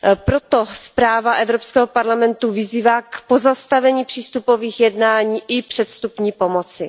Proto zpráva Evropského parlamentu vyzývá k pozastavení přístupových jednání i předvstupní pomoci.